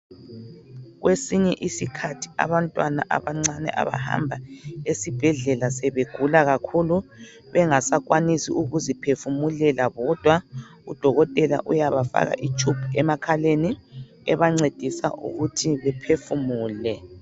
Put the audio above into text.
Kwesinye isikhathi abantwana abancane abahamba ezibhedlela zebegula kakhulu bengasakwanisi ukuziphefumulela kwodwa udokotela uyabafaka itshubu emakhaleni ebancedisa ukuthi bephefumule.